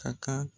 Ka kan